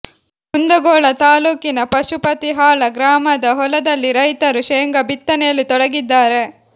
ಕುಂದಗೋಳ ತಾಲ್ಲೂಕಿನ ಪಶುಪತಿಹಾಳ ಗ್ರಾಮದ ಹೊಲದಲ್ಲಿ ರೈತರು ಶೇಂಗಾ ಬಿತ್ತನೆಯಲ್ಲಿ ತೊಡಗಿದ್ದಾರೆ